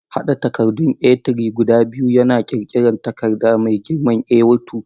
Haɗa takaddun A3 guda biyu yana ƙirƙirar takarda mai girman A2.